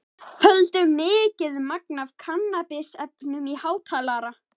FÖLDU MIKIÐ MAGN AF KANNABISEFNUM Í HÁTALARA.